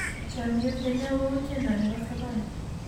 chamiyet ne nyo ko u tiende nebo sabon